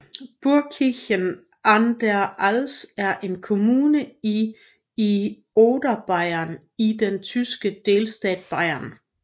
Burgkirchen an der Alz er en kommune i i Oberbayern i den tyske delstat Bayern